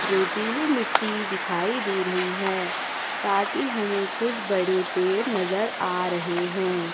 रेतीले मिट्टी दिखाई दे रही है साथ ही हमें कुछ बड़े पेड़ नजर आ रहे हैं।